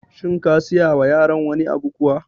Shin ka siya wa yaran wani abu kuwa?